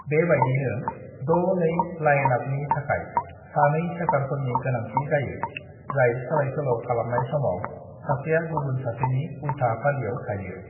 "बेबायदिनो 6-2 लाइनआपनि थाखाय सानै सेटारफोरनि गोनांथि जायो, जाय सोलायसोल' खालामनाय समाव सासेया गुबुन सासेनि उल्था फारियाव थायो।"